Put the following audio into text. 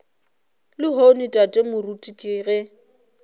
lehono tate moruti ke ge